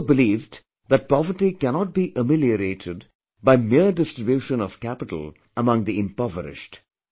He also believed that poverty cannot be ameliorated by mere distribution of capital among the impoverished